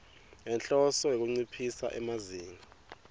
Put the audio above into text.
ngenhloso yekunciphisa emazinga